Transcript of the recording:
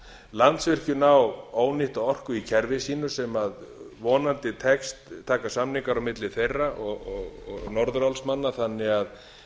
landsvirkjun á ónýtta orku í kerfi sínu sem vonandi takast samningar á milli þeirra og norðurálsmanna þannig að